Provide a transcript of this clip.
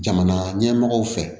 Jamana ɲɛmɔgɔw fɛ